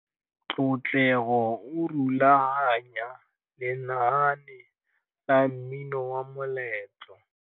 Tlotlego o rulaganya lenaane la mmino wa moletlô.